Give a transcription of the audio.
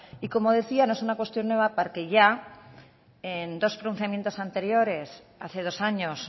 y como decía no es una cuestión nueva porque ya en dos pronunciamientos anteriores hace dos años